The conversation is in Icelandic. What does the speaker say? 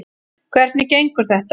Hvernig gengur þetta?